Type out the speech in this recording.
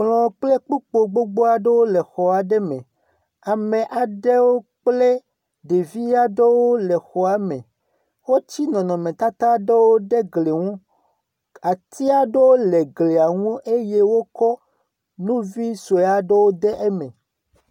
Kplɔ kple kpokpo gbogbo aɖewo le xɔ aɖe me, ame aɖewo kple ɖevi aɖewo le xɔa me, wotsi nɔnɔmetata aɖewo ɖe gli ŋu. Atia aɖewo le gli ŋu eye wokɔ nu vi sue aɖewo ɖe eme.